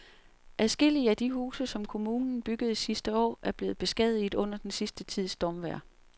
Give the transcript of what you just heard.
Adskillige af de huse, som kommunen byggede sidste år, er blevet beskadiget under den sidste tids stormvejr.